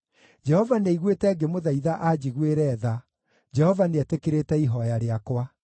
Jehova nĩaiguĩte ngĩmũthaitha anjiguĩre tha; Jehova nĩetĩkĩrĩte ihooya rĩakwa.